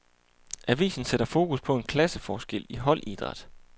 Avisen sætter fokus på en klasseforskel i holdidræt.